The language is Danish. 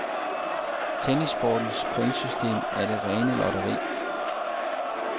Tennissportens pointsystem er det rene lotteri.